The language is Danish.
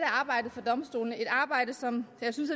arbejdet for domstolene et arbejde som jeg synes